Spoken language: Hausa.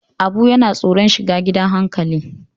Abu yana tsoron shiga gidan hankali.